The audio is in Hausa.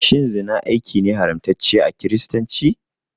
Shin zina aiki ne haramtacce a kiristanci?